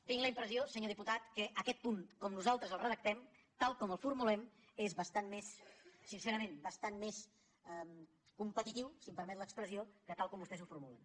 tinc la impressió senyor diputat que aquest punt com nosaltres el redactem tal com el formulem és bastant més sincerament competitiu si em permet l’expressió que tal com vostès ho formulen